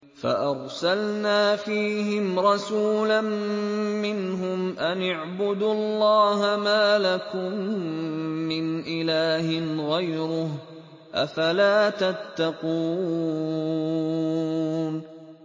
فَأَرْسَلْنَا فِيهِمْ رَسُولًا مِّنْهُمْ أَنِ اعْبُدُوا اللَّهَ مَا لَكُم مِّنْ إِلَٰهٍ غَيْرُهُ ۖ أَفَلَا تَتَّقُونَ